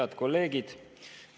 Head kolleegid!